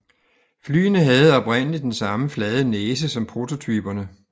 Flyene havde oprindeligt den samme flade næse som prototyperne